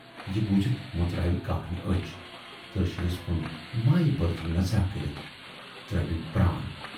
"یہِ بوٗزِتھ مُژراوِ کاکنہِ ٲچھ تہٕ رشیٖدس کُن مایہِ بٔرژ نظراہ کٔرِتھ ترٲوِن پران۔